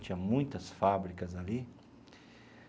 Tinha muitas fábricas ali.